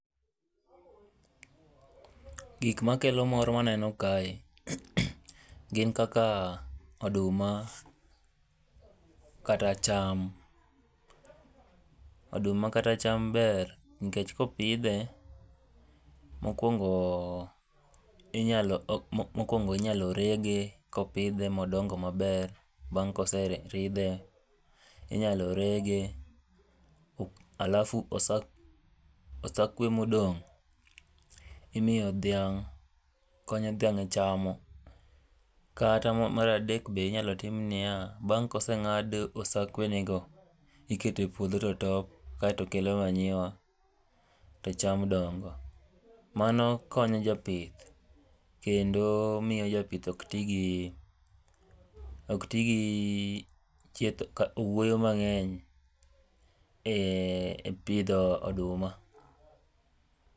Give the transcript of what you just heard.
gik ma kelo mor ma aneno kae, gin kaka oduma kata cham. oduma kata cham ber. mokwongo inyalo rege kopidhe modongo maber, bang koseridhe. inyalo rege. alafu osakwe modong' imiyo dhiang' konyo dhiang' e chamo, kata maradek be inyalo tim niya bang ka osengad osakwenego, ikete puodho to top kasto kelo manure to cham dongo. mano konyo jo pith, kendo miyo jopith ok ti gi owuoyo mang'eny e pidho oduma.